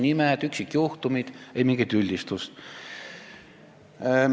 Nimed ja üksikjuhtumid – ei mingit üldistust.